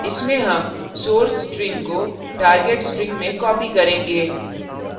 इसमें हम source string को target string में copy करेंगे